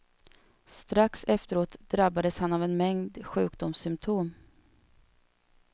Strax efteråt drabbades han av en mängd sjukdomssymptom.